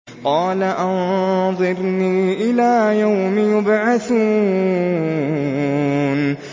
قَالَ أَنظِرْنِي إِلَىٰ يَوْمِ يُبْعَثُونَ